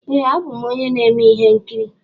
Ee a bụ m onye na-eme ihe nkiri.